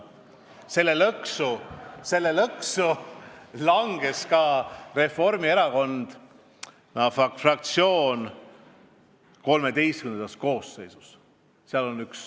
Samasse lõksu langes ka Reformierakonna fraktsioon XIII koosseisus.